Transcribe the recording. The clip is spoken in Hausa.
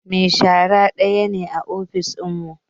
Mai shara daya ne a ofis dinmu